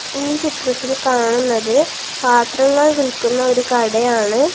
ഈ ചിത്രത്തിൽ കാണുന്നത് പാത്രങ്ങൾ വിൽക്കുന്ന ഒരു കടയാണ്.